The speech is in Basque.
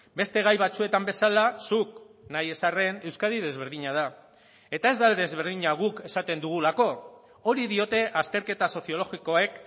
beste gai batzuetan bezala zuk nahi ez arren euskadi desberdina da eta ez da desberdina guk esaten dugulako hori diote azterketa soziologikoek